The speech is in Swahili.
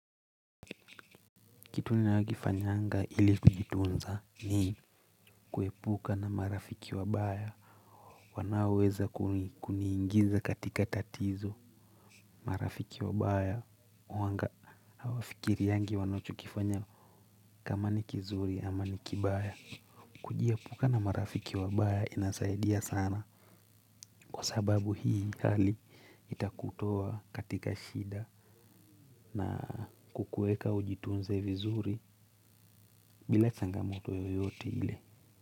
Kitu ninayo kifanyanga ili kujitunza ni kuepuka na marafiki wabaya wanaoweza kuniingiza katika tatizo marafiki wabaya huanga hawafikiriangi wanachokifanya kama ni kizuri ama ni kibaya. Kujiepuka na marafiki wabaya inasaidia sana kwa sababu hii itakutoa katika shida na kukueka ujitunze vizuri bila changamoto yoyote ile.